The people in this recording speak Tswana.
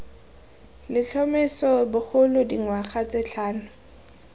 letlhomeso bogolo dingwaga tse tlhano